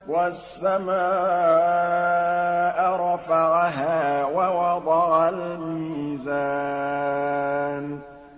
وَالسَّمَاءَ رَفَعَهَا وَوَضَعَ الْمِيزَانَ